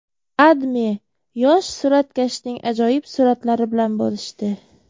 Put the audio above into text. AdMe yosh suratkashning ajoyib suratlari bilan bo‘lishdi .